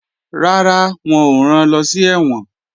Rárá, wọn ò ran lọ sí ẹ̀wọ̀n